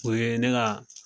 O ye ne ga